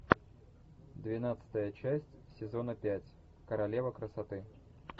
двенадцатая часть сезона пять королева красоты